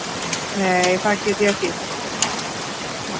Nei það get ég ekki.